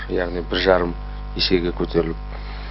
яғни бір жарым есеге көтеріліп